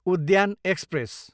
उद्यान एक्सप्रेस